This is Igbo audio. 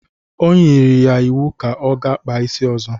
O nyiri ya iwu ka ọ ga-kpa isi ọzọ!